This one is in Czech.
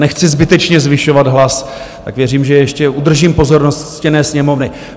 Nechci zbytečně zvyšovat hlas, tak věřím, že ještě udržím pozornost ctěné Sněmovny.